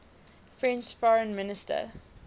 french foreign minister